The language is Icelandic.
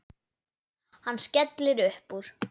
Hann skellir upp úr.